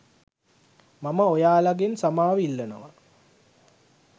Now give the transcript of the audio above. මම ඔයාලගෙන් සමාව ඉල්ලනවා